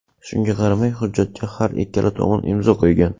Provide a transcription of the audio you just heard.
Shunga qaramay, hujjatga har ikkala tomon imzo qo‘ygan.